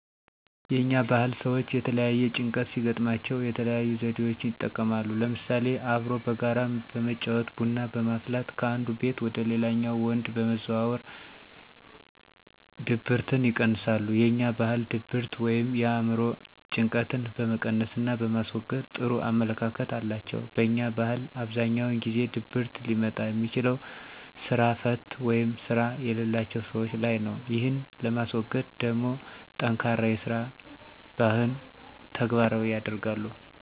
የኛ ባህል ሰወች የተለያየ ጭንቀት ሲገጥማቸው የተለያዩ ዘዴወችን ይጠቀማሉ ለምሳሌ፦ አብሮ በጋራ በመጫወት፣ ቡና በማፍላት ከአንዱ ቤት ወደ ሌላኛው ወንድ በመዘዋወር ድብርትን ይቀንሳሉ። የኛ ባህል ድብርት ወይም የአእምሮ ጭንቀጥን በመቀነስና በማስወገድ ጥሩ አመለካከት አላቸው። በኛ ባህል አብዛኛውን ጊዜ ድብርት ሊመጣ የሚችለው ስራ ፈት ወይም ስራ የለላቸው ሰወች ላይ ነው። ይህን ለማስወገድ ደሞ ጠንካራ የስራ ባህን ተግባራዊ ያደርጋሉ።